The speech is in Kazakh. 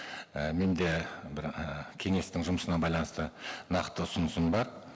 і менде бір і кеңестің жұмысына байланысты нақты ұсынысым бар